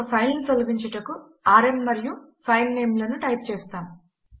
ఒక ఫైల్ ను తొలగించుటకు ఆర్ఎం మరియు ఫైల్ నేమ్ లను టైప్ చేస్తాము